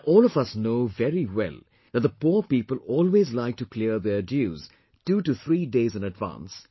Now all of us know very well that the poor people always like to clear their dues 23 days in advance